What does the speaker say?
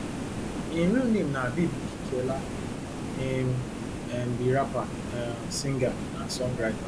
im real name na habeeb okikiola im um be rapper um singer and songwriter